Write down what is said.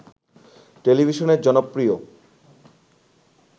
টেলিভিশনের জনপ্রিয়